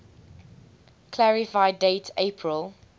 clarify date april